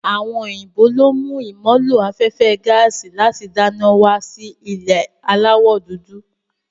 Àwọn òyìnbó lo mú ìmọ̀ ló afẹ́fẹ́ gaàsì láti dáná wá sí ilẹ̀ aláwọ̀ dúdú.